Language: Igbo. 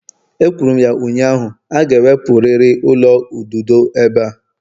Ekwuru m ya ụnyaahụ, a ga-ewepụrịrị ụlọ ududo ebe a!